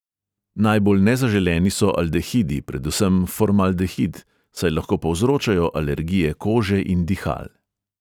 Najbolj nezaželeni so aldehidi, predvsem formaldehid, saj lahko povzročajo alergije kože in dihal.